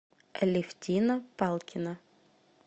алевтина палкина